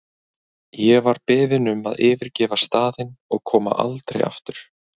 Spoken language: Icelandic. Ég var beðin um að yfirgefa staðinn og koma aldrei aftur.